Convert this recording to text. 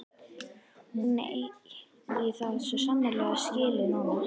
Hún eigi það svo sannarlega skilið núna.